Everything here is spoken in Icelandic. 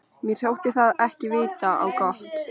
Mér þótti það ekki vita á gott.